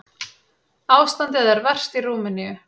Ástandið er verst í Rúmeníu.